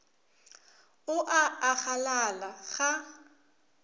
o a a galala ga